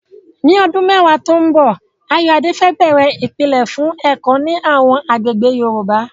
Ní ọdún mẹ́wàá tó ń bọ̀, Ayoade fẹ́ bẹ̀rẹ̀ ìpìlẹ̀ fún ẹ̀kọ́ ní àwọn agbègbè Yorùbá.